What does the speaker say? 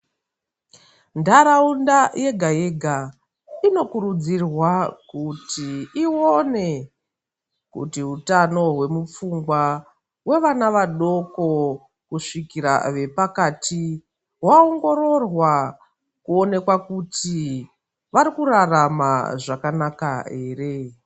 Ntaraunda yega yega inokurudzirwa kuti iwone kuti utano hwemuofungwa hwevana vadoko kusvikira vepakati hwaongororwa kuonekwa kuti vari kurarama zvakanaka ere.